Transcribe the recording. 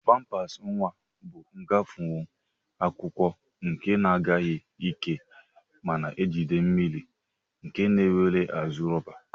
Pampas nwa bu nghafunwu akwụkwọ nke na aghi ike mana ejide mmiri nke nwere azu rọba.